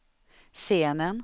scenen